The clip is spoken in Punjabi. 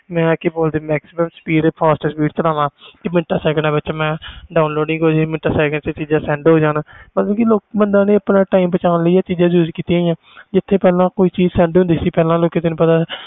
ਹਰ ਕੋਈ ਚਾਹੁੰਦਾ ਕਿ ਮੈਂ fast speed ਚਲਵਾ ਕਿ ਮਿੰਟਾ ਸੈਕਿੰਡ ਵਿਚ download ਮੈਂ ਹੋ ਮਿੰਟਾ ਸੈਕਿੰਡ ਵਿਚ sand ਹੋ ਜੇ ਲੋਕਾਂ ਨੇ ਆਪਣਾ time ਬਚਣ ਲਈ ਜਿਥੇ ਕੋਈ ਪਹਿਲੇ ਚੀਜ਼